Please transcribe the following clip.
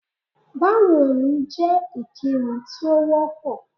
Báwo ni jẹ́ ìkíni tí ó wọ́ pọ̀.